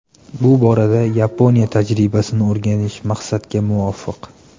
Bu borada Yaponiya tajribasini o‘rganish maqsadga muvofiq.